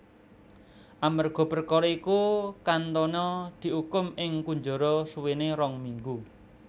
Amerga perkara iku Cantona diukum ing kunjara suwene rong minggu